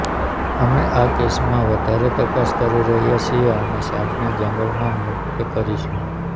અમે આ કેસમાં વધારે તપાસ કરી રહ્યા છીએ અને સાપને જંગલમાં મુક્ત કરીશું